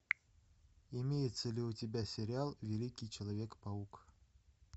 имеется ли у тебя сериал великий человек паук